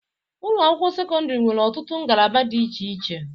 Ụlọ akwụkwọ sekọndiri nwere ọtụtụ ngalaba di iche iche.